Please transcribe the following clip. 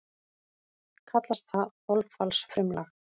Kallast það þolfallsfrumlag.